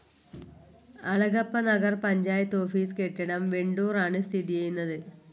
Alagappanagar panchayat office കെട്ടിടം വെണ്ടൂർ ആണ് സ്ഥിതി ചെയ്യുന്നത്.